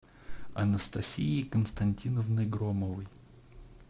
анастасией константиновной громовой